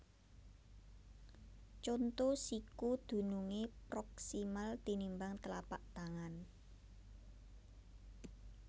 Conto Siku dunungé proksimal tinimbang tlapak tangan